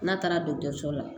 N'a taara dɔtɔrɔso la